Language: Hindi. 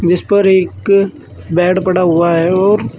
इस पर एक बेड पड़ा हुआ है और--